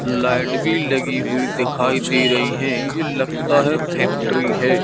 Light भी लगी हुई दिखाई दे रही है ये लगता है फैक्ट्री है।